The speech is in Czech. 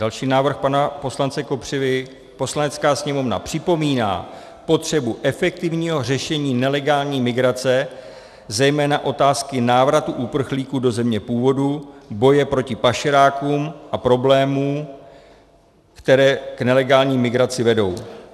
Další návrh pana poslance Kopřivy: "Poslanecká sněmovna připomíná potřebu efektivního řešení nelegální migrace, zejména otázky návratu uprchlíků do země původu, boje proti pašerákům a problémům, které k nelegální migraci vedou."